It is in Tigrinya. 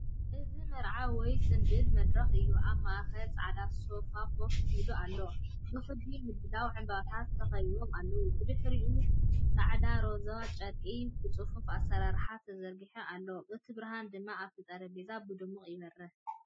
እዚ መርዓ ወይ ጽምብል መድረኽ እዩ። ኣብ ማእከል ጻዕዳ ሶፋ ኮፍ ኢሉ ኣሎ፣ ብክቢ ምድላው ዕምባባታት ተኸቢቡ ኣሎ። ብድሕሪኡ ጻዕዳን ሮዛን ጨርቂ ብጽፉፍ ኣሰራርሓ ተዘርጊሑ ኣሎ፡ እቲ ብርሃን ድማ ኣብቲ ጠረጴዛ ብድሙቕ ይበርህ።